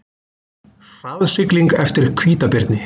Hraðsigling eftir hvítabirni